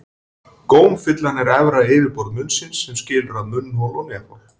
Gómfillan er efra yfirborð munnsins sem skilur að munnhol og nefhol.